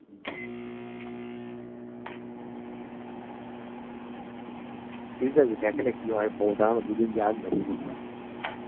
ঠিকাছে দেখা যাক কি হয় খবর দাড়া না দুদিন যাক